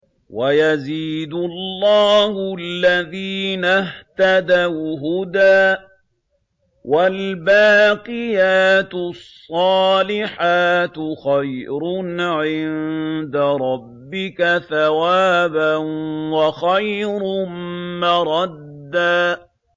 وَيَزِيدُ اللَّهُ الَّذِينَ اهْتَدَوْا هُدًى ۗ وَالْبَاقِيَاتُ الصَّالِحَاتُ خَيْرٌ عِندَ رَبِّكَ ثَوَابًا وَخَيْرٌ مَّرَدًّا